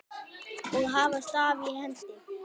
og hafa staf í hendi.